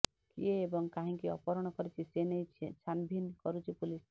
କିଏ ଏବଂ କାହିଁକି ଅପହରଣ କରିଛି ସେନେଇ ଛାନଭିନ କରୁଛି ପୋଲିସ